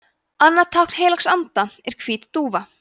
annað tákn heilags anda er hvít dúfa